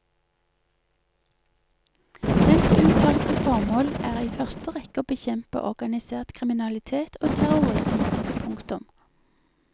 Dens uttalte formål er i første rekke å bekjempe organisert kriminalitet og terrrorisme. punktum